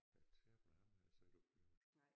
Ja Terp nej ham havde jeg så ikke oppe i Aarhus